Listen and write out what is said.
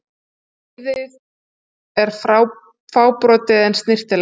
Leiðið er fábrotið en snyrtilegt.